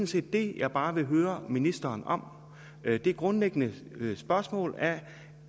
set det jeg bare vil høre ministeren om det grundlæggende spørgsmål er